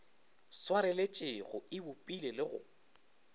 swareletšego e bopile le go